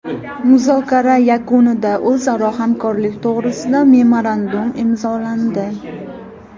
Muzokara yakunida o‘zaro hamkorlik to‘g‘risida memorandum imzolandi.